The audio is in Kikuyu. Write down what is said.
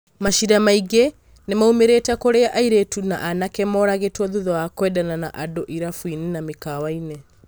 Maciira maingĩ nĩmaumĩrĩte kũrĩa airĩtu na anake moragĩtwo thutha wa kwendana na andũ irabuinĩ na mikawainĩ.